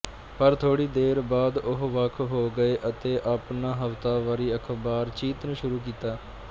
ਪਰ ਥੋੜ੍ਹੀ ਦੇਰ ਬਾਅਦ ਉਹ ਵੱਖ ਹੋ ਗਏ ਅਤੇ ਆਪਣਾ ਹਫਤਾਵਾਰੀ ਅਖ਼ਬਾਰ ਚੀਤਨ ਸ਼ੁਰੂ ਕੀਤਾ